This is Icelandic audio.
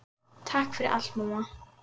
Takk fyrir allt, mamma.